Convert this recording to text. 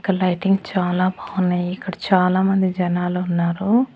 ఇక్కడ లైటింగ్ చాలా బావున్నాయి ఇక్కడ చాలామంది జనాలు ఉన్నారు.